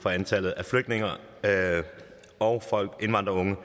for antallet af flygtninge og indvandrerunge